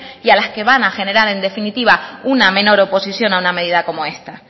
y a las que van a generar en definitivas una menor oposición a una medida como esta